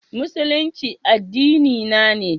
Musulunci addinina ne.